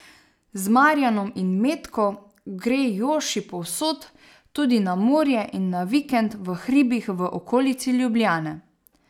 Z Marjanom in Metko gre Joši povsod, tudi na morje in na vikend v hribih v okolici Ljubljane.